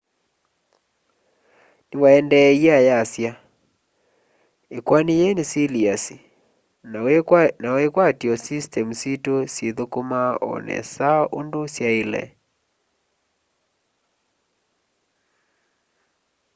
niwaendeeie ayasya ikoani yii ni siliasi ni wikwatyo systemu situ syithukuma o nesa undu syaile